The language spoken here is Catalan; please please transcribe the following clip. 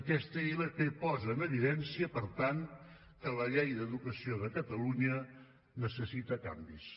aquesta ilp posa en evidència per tant que la llei d’educació de catalunya necessita canvis